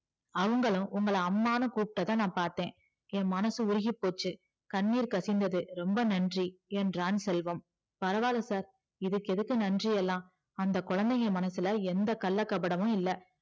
அவங்களும் உங்கள அம்மான்னு கூப்டத பாத்த என் மனசு உருகி போச்சி கண்ணீர் கசிந்தது ரொம்ப நன்றி என்றான் செல்வம் பரவால sir எதுக்கு நன்றியெல்லா அந்த குழந்தைங்க மனசுல எந்த கள்ளம் கபடமும் இல்ல